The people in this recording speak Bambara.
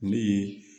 Ne ye